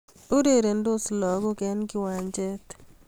Urerendos lagok eng' kiwanjet